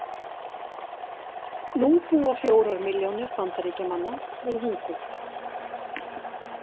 Nú búa fjórar milljónir Bandaríkjamanna við hungur.